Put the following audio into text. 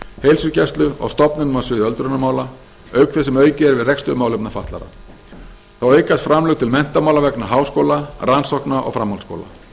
heilsugæslu og stofnunum á sviði öldrunarmála auk þess sem aukið er við rekstur málefna fatlaðra þá aukast framlög til menntamála vegna háskóla rannsókna og framhaldsskóla